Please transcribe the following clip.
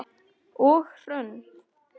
Og Hrönn?